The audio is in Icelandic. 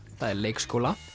það er leikskóla